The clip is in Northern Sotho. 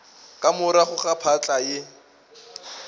ka morago ga phahla ye